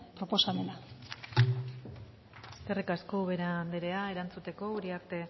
proposamena eskerrik asko ubera anderea erantzuteko uriarte